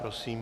Prosím.